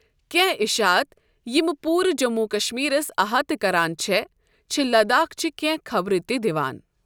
کینہہ اشاعت یمہٕ پوُرٕ جموں و کشمیرس احاطہ کران چھے٘ ، چھِ لداخچہِ كینہہ خبرٕ تہِ دِوان ۔